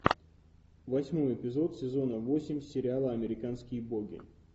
восьмой эпизод сезона восемь сериала американские боги